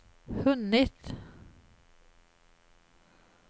hunnit